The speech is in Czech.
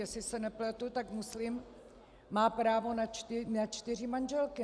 Jestli se nepletu, tak muslim má právo na čtyři manželky.